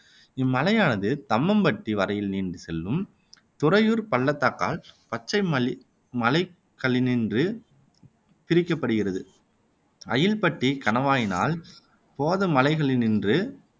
இம் மலையானது தம்மம்பட்டி வரையில் நீண்டு செல்லும் துறையூர்ப் பள்ளத்தாக்கால் பச்சை மலைகளினின்றும் பிரிக்கப்படுகிறது அயில்பட்டிக் கணவாயினால் போத மலைகளினின்று